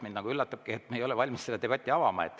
Mind üllatab, et me ei ole valmis seda debatti avama.